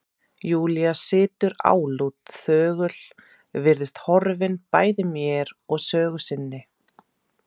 Júlía situr álút, þögul, virðist horfin bæði mér og sögu sinni.